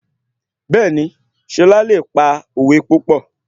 Bẹ́ẹ̀ni, Ṣọlá le pa òwe púpọ̀